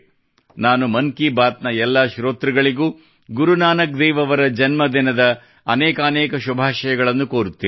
ನಾನು ಮನ್ ಕಿ ಬಾತ್ ನ ಎಲ್ಲಾ ಶ್ರೋತೃಗಳಿಗೂ ಗುರು ನಾನಕ್ ದೇವ್ ಅವರ ಜನ್ಮದಿನದ ಅನೇಕಾನೇಕ ಶುಭಾಶಯಗಳನ್ನು ಕೋರುತ್ತೇನೆ